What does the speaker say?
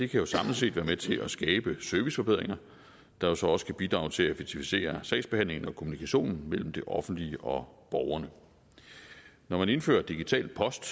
kan jo samlet set være med til at skabe serviceforbedringer der så også kan bidrage til at effektivisere sagsbehandlingen og kommunikationen mellem det offentlige og borgerne når man indfører digital post